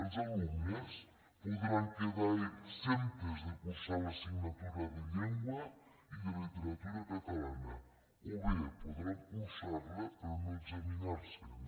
els alumnes podran quedar exempts de cursar l’assignatura de llengua i de literatura catalanes o bé podran cursar la però no examinar se’n